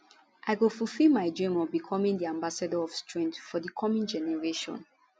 i go fufill my dream of becoming di ambassador of strength for di coming generation